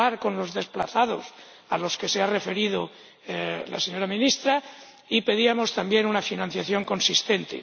hablar con los desplazados, a los que se ha referido la señora Ministra, y pedíamos también una financiación consistente.